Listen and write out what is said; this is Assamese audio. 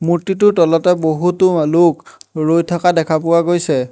মূৰ্তিটোৰ তলতে বহুতো মা-লোক ৰৈ থাকা দেখা পোৱা গৈছে।